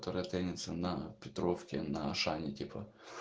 который таится на петровке на ашане типо